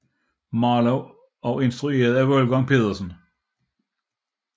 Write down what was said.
Marlowe og instrueret af Wolfgang Petersen